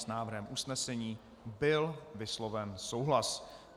S návrhem usnesení byl vysloven souhlas.